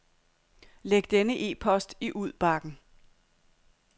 Læg denne e-post i udbakken.